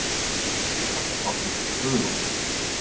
Gerður Helgadóttir, Guðrún